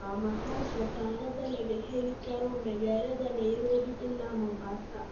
Waa maxay safarada laga heli karo magaalada nairobi ilaa mombasa